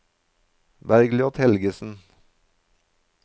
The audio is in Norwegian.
Bergljot Helgesen